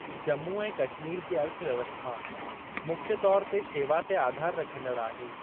जम्मू ऐं कश्मीर जी अर्थव्यवस्था मुख्य तौरु ते शेवा ते आधार रखंदड़ आहे।